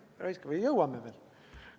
Ära hõiska, me jõuame veel.